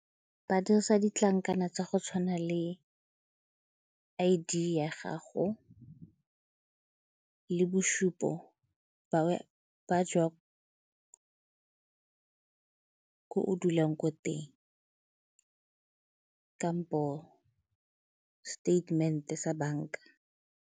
Ba dirisa ditlankana tsa go tshwana le I_D ya gago le bosupo ko o dulang ko teng kampo seteitemente sa banka.